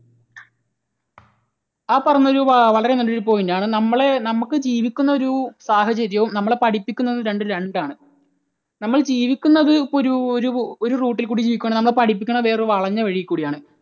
ആ പറഞ്ഞത് വളരെ നല്ല ഒരു point ആണ്. നമ്മൾ നമുക്ക് ജീവിക്കുന്ന ഒരു സാഹചര്യവും നമ്മളെ പഠിപ്പിക്കുന്നതും രണ്ടും രണ്ടാണ്. നമ്മൾ ജീവിക്കുന്നത് ഇപ്പോൾ ഒരു ഒരുഒരു route ൽ കൂടി ജീവിക്കുകയാണ് നമ്മളെ പഠിപ്പിക്കുന്നത് വേറെ ഒരു വളഞ്ഞ വഴിയിൽ കൂടെയാണ്.